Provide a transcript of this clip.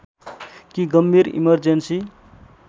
कि गम्भीर इमर्जेन्‍सी